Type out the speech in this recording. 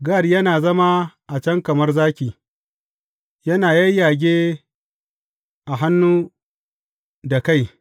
Gad yana zama a can kamar zaki, yana yayyage a hannu da kai.